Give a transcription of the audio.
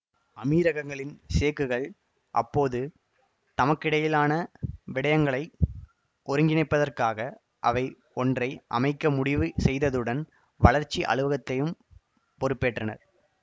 அமீரகங்களின் சேக்குகள் அப்போது தமக்கிடையிலான விடயங்களை ஒருங்கிணைப்பதற்காக அவை ஒன்றை அமைக்க முடிவு செய்ததுடன் வளர்ச்சி அலுவலகத்தையும் பொறுப்பேற்றனர்